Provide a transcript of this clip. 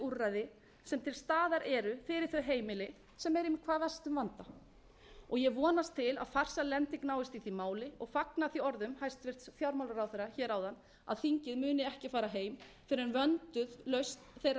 þau heimili sem eru í hvað mestum vanda ég vonast til að farsæl lending náist í því máli og fagna því orðum hæstvirts fjármálaráðherra hér áðan að þingið muni ekki fara heim fyrr en vönduð lausn þeirra